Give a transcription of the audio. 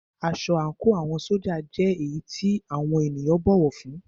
Aṣọ àńkò àwọn ṣójà jẹ́ èyí tí àwọn ènìyàn bọ̀wọ̀ fún ún.